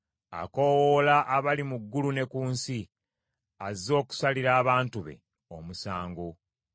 Akoowoola abali mu ggulu ne ku nsi, azze okusalira abantu be omusango.